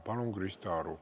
Palun, Krista Aru!